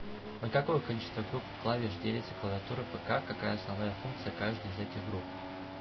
на какое количество групп клавиш делится клавиатура пк какая основная функция каждой из этих групп